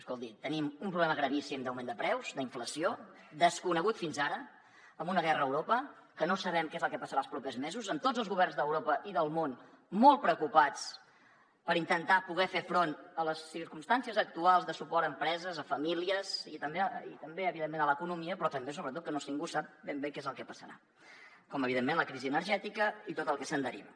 escolti tenim un problema gravíssim d’augment de preus d’inflació desconegut fins ara amb una guerra a europa que no sabem què és el que passarà els propers mesos amb tots els governs d’europa i del món molt preocupats per intentar poder fer front a les circumstàncies actuals de suport a empreses a famílies i també evidentment a l’economia però també sobretot perquè ningú sap ben bé què és el que passarà com evidentment la crisi energètica i tot el que se’n deriva